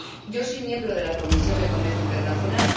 Yo soy miembro de la Comisión de Comercio Internacional.